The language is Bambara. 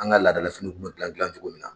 An ka laada la finiw kun bɛ gilan gilan cogo min na.